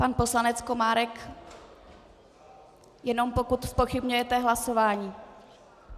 Pan poslanec Komárek, jenom pokud zpochybňujete hlasování.